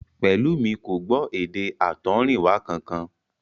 Pẹ̀lúmi kò gbọ́ èdè àtọ̀húnrìnwá kankan